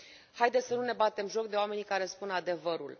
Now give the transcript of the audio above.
Haideți să nu ne batem joc de oamenii care spun adevărul.